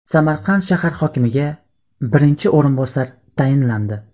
Samarqand shahar hokimiga birinchi o‘rinbosar tayinlandi.